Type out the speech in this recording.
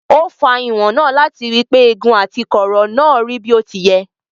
Ó fa ìwọ̀n náà láti rí pé igun àti kọ̀ọ̀rọ̀ náà rí bí ó ti yẹ.